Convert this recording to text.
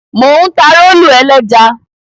Mò ń ta rólù ẹlẹ́ja.